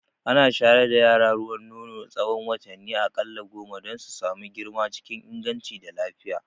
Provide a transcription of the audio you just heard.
Ana shayar da yara ruwan nono na tsahon watanni a ƙalla goma don su samu girma cikin inganci da lafiya